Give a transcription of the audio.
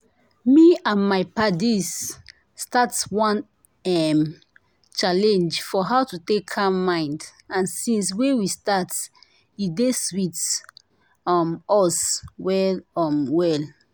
me and my paddies start one erm! challenge for how to take calm mind and since wey we start e dey sweet um us well um well